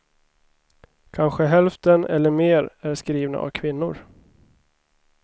Kanske hälften eller mer är skrivna av kvinnor.